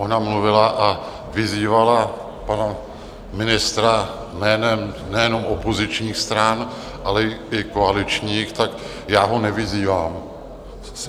Ona mluvila a vyzývala pana ministra jménem nejenom opozičních stran, ale i koaličních - tak já ho nevyzývám.